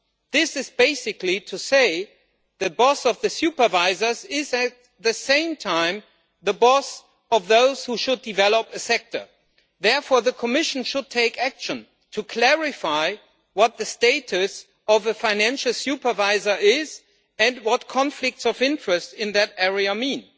This is basically saying that the boss of the supervisors is at the same time the boss of those who should develop the sector. Therefore, the Commission should take action to clarify what the status of a financial supervisor is, and what conflicts of interest in that area mean.